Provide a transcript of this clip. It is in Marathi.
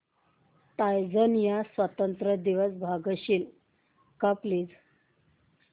टांझानिया स्वतंत्रता दिवस सांगशील का प्लीज